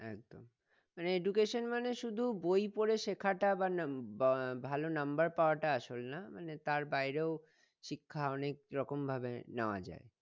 একদম মানে education মানে শুধু বই পড়ে শেখাটা বা নাম বা ভালো number পাওয়াটা আসল না মানে তার বাইরেও শিক্ষা অনেক রকম ভাবে নেওয়া যাই